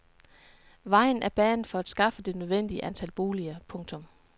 Vejen er banet for at skaffe det nødvendige antal boliger. punktum